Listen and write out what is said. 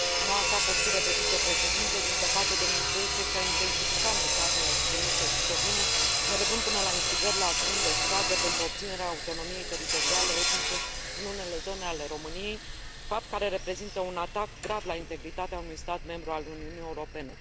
În noua sa postură de vicepreședinte, din păcate, domnul Tökes a intensificat mesajele extremiste și șovine, mergând până la instigări la acțiuni de stradă pentru obținerea autonomiei teritoriale etnice în unele zone ale României, fapt care reprezintă un atac grav la integritatea unui stat membru al Uniunii Europene.